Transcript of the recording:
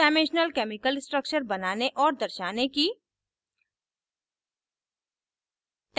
two dimensional chemical structures बनाने और दर्शाने की